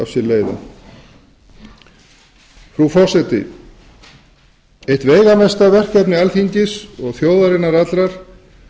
sér leiða frú forseti eitt veigamesta verkefni alþingis og þjóðarinnar allrar